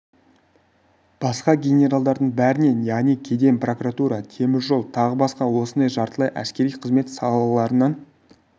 басқа генералдардың бәрінен яғни кеден прокуратура темір жол тағы басқа осындай жартылай әскери қызмет салаларынан